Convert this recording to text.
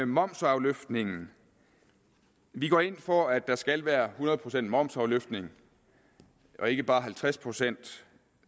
momsafløftningen vi går ind for at der skal være hundrede procent momsafløftning og ikke bare halvtreds procent